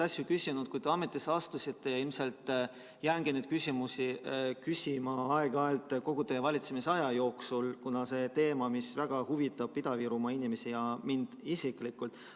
Küsisin neid asju, kui te ametisse astusite, ja ilmselt jäängi neid küsimusi küsima aeg-ajalt kogu teie valitsemisaja jooksul, kuna see teema väga huvitab Ida-Virumaa inimesi ja mind isiklikult.